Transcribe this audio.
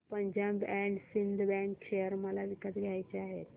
Punjab and Sind Bank share मला विकत घ्यायचे आहेत